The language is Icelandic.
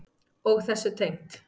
Og þessu tengt.